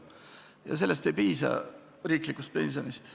Ja selleks ei piisa riiklikust pensionist.